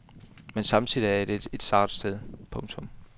Men samtidig er det et sart sted. punktum